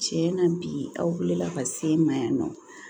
Tiɲɛ na bi aw bɛ wuli ka se ma yan nɔ